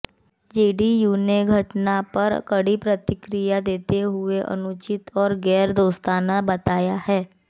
JDU ने घटना पर कड़ी प्रतिक्रिया देते हुए अनुचित और गैर दोस्ताना बताया है